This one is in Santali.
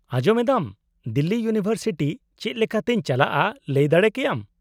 -ᱟᱸᱡᱚᱢ ᱮᱫᱟᱢ, ᱫᱤᱞᱞᱤ ᱤᱭᱩᱱᱤᱵᱷᱟᱨᱥᱤᱴᱤ ᱪᱮᱫ ᱞᱮᱠᱟᱛᱮᱧ ᱪᱟᱞᱟᱜᱼᱟ ᱞᱟᱹᱭ ᱫᱟᱲᱮ ᱠᱮᱭᱟᱢ ?